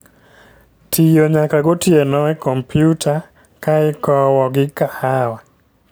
Tiyo nyaka gotieno e kompyuta ka ikowo gi kahawa